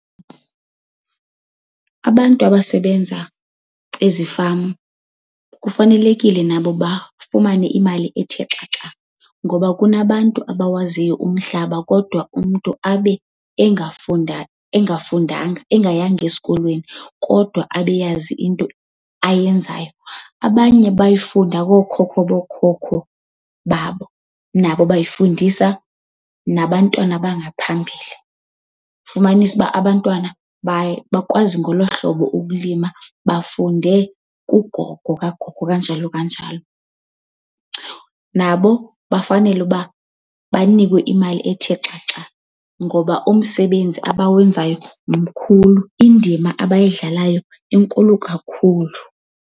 Abantu abasebenza ezifama kufanelekile nabo bafumane imali ethe xaxa ngoba kunabantu abawaziyo umhlaba kodwa umntu abe engafunda engafundanga, engayanga esikolweni, kodwa abe eyazi into ayenzayo. Abanye bayifunda kookhokho bookhokho babo, nabo bayifundisa nabantwana abangaphambili. Fumanise uba abantwana baye bakwazi ngolo hlobo ukulima, bafunde kugogo kagogo, kanjalo kanjalo. Nabo bafanele uba banikwe imali ethe xaxa ngoba umsebenzi abawenzayo mkhulum indima abayidlalayo inkulu kakhulu.